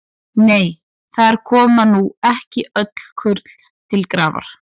Nei, þar koma nú ekki öll kurl til grafar.